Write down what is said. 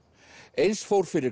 eins fór fyrir